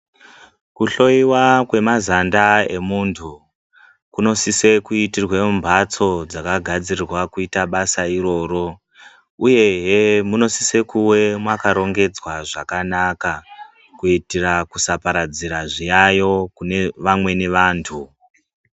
Kuhloyiwa kwemazanda emuntu kunosise kunoitirwe mumhatso dzakagadzirira kuita basa iroro uyehe munosise kuwe makarongedzwa zvakanaka kuitire kusaparadzira zviyayo kune vamweni vantu .